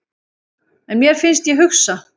En mér finnst ég hugsa.